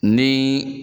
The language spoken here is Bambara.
Ni